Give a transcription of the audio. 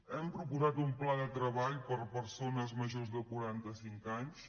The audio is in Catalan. hem proposat un pla de treball per a persones majors de quaranta cinc anys